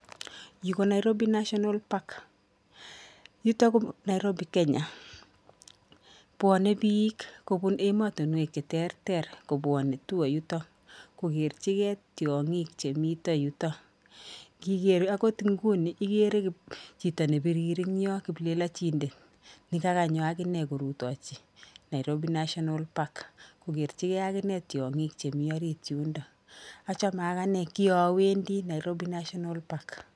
Yu ko Nairobi National Park, yuto ko Nairobi Kenya, bwone piik kobun emotinwek che terter kobwonei tour yuto, kokerchigei tiongik chemito yuto, ngiker akot inguni ikere chito ne birir eng yoo kiplelachindet, ne kakanyo akine korutochi Nairobi National Park kokerchikei akine tiongik chemi orit yundo, achame akine kiowendi Nairobi National Park.